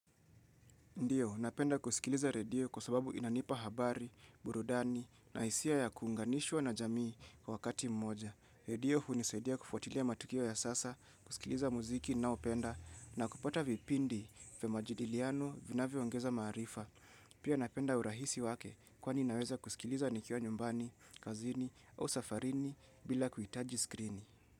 Ndiyo, napenda kusikiliza redio kwa sababu inanipa habari, burudani, na isia ya kuunganishwa na jamii kwa wakati mmoja. Redio hunisaidia kufuatilia matukio ya sasa, kusikiliza muziki na upenda, na kupata vipindi vya majidiliano vina viongeza marifa. Pia napenda urahisi wake kwani inaweza kusikiliza nikiwa nyumbani, kazini au safarini bila kuitaji skrini.